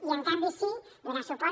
i en canvi sí donar suport